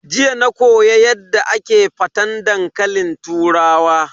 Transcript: Jiya na koyo Yadda ake faten dankalin turawa.